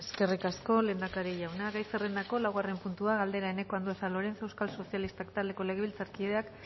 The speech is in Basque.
eskerrik asko lehendakari jauna gai zerrendako laugarren puntua galdera eneko andueza lorenzo euskal sozialistak taldeko legabiltzarkideak